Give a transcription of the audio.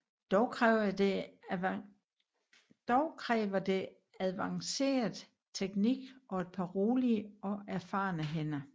Dog kræver det advanceret teknik og et par rolige og erfarne hænder